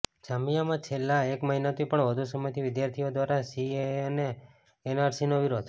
જામિયામાં છેલ્લાં એક મહિનાથી પણ વધુ સમયથી વિદ્યાર્થીઓ દ્વારા સીએએ અને એનઆરસીનો વિરોધ